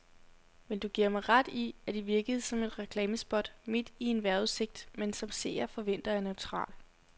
Men giver du mig ret i, at det virkede som et reklamespot midt i en vejrudsigt, man som seer forventer er neutral.